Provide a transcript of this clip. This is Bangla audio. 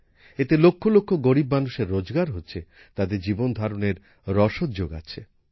এতে লক্ষ লক্ষ গরীব মানুষের রোজগার হচ্ছে তাদের জীবন ধারণের রসদ যোগাচ্ছে